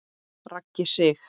Raggi Sig.